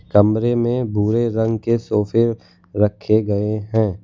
कमरे में भुरे रंग के सोफे रखे गएं हैं।